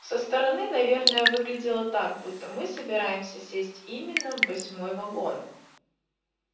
со стороны наверное выглядело так будто мы собираемся сесть именно в восьмой вагон